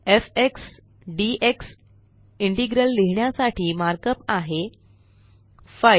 F X D X integral लिहिण्यासाठी mark up आहे 5